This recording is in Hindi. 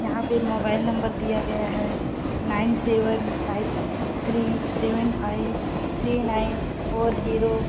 यहाँ पे मोबाइल नंबर दिया गया है। Nine seven five three seven five three nine four zero .